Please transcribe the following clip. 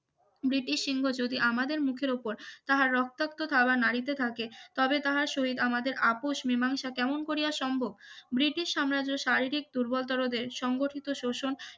British সিংহ যদি আমাদের মুখের উপর তাহার রক্তাক্ত থাবা নারিতে থাকে তবে তাহার শহীদ আমাদের আপোষ মীমাংসা কেমন করিয়া সম্ভব ব্রিটিশ সাম্রাজ্য শারীরিক দুর্বল তারদের সংগঠিত শোষণ